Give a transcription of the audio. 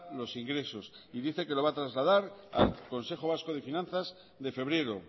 los ingresos y dice que lo va a trasladar al consejo vasco de finanzas de febrero